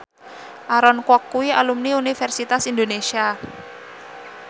Aaron Kwok kuwi alumni Universitas Indonesia